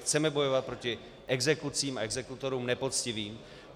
Chceme bojovat proti exekucím a exekutorům nepoctivým.